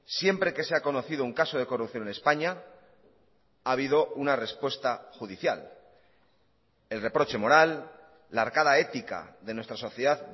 siempre que se ha conocido un caso de corrupción en españa ha habido una respuesta judicial el reproche moral la arcada ética de nuestra sociedad